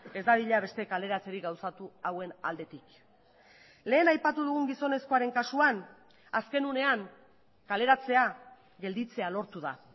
ez dadila beste kaleratzerik gauzatu hauen aldetik lehen aipatu dugun gizonezkoaren kasuan azken unean kaleratzea gelditzea lortu da